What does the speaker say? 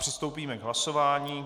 Přistoupíme k hlasování.